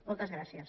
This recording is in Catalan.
moltes gràcies